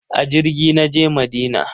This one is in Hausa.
A jirgi na je Madina.